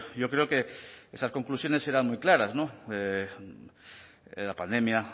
yo creo que esas conclusiones eran muy claras la pandemia